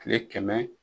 Kile kɛmɛ